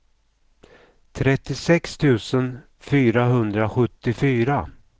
trettiosex tusen fyrahundrasjuttiofyra